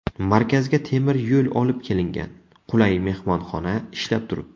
Markazga temir yo‘l olib kelingan, qulay mehmonxona ishlab turibdi.